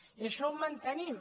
i això ho mantenim